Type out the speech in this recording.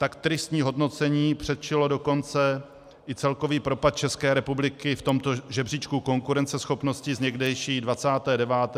Tak tristní hodnocení předčilo dokonce i celkový propad České republiky v tomto žebříčku konkurenceschopnosti z někdejší 29. na dnešní 37. místo.